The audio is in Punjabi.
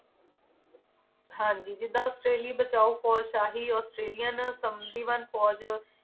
ਹਾਂਜੀ ਜਿਦਾਂ ਔਸਟ੍ਰੇਲੀ ਬਚਾਉ ਫੌਜ ਸ਼ਾਹੀ ਔਸਟ੍ਰੇਲਿਆ ਸਮਧੀਵਨ ਫੌਜ